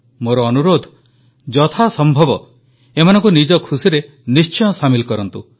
ମୋର ଅନୁରୋଧ ଯଥାସମ୍ଭବ ଏମାନଙ୍କୁ ନିଜ ଖୁସିରେ ନିଶ୍ଚୟ ସାମିଲ କରନ୍ତୁ